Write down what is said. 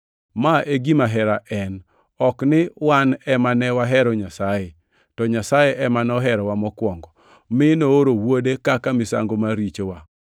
Ma e gima hera en: ok ni wan ema ne wahero Nyasaye, to Nyasaye ema noherowa mokwongo mi nooro Wuode kaka misango mar richowa.